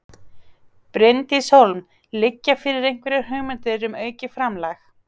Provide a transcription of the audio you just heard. Bryndís Hólm: Liggja fyrir einhverjar hugmyndir um aukið framlag?